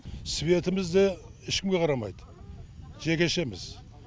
светіміз де ешкімге қарамайды жекешеміз